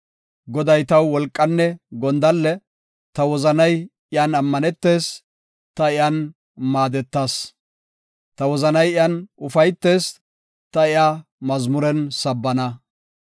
Goday taw wolqanne gondalle; ta wozanay iyan ammanetees; ta iyan maadetas. Ta wozanay iyan ufaytees; ta iya mazmuren sabbana.